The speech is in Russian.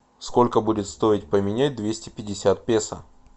сколько будет стоить поменять двести пятьдесят песо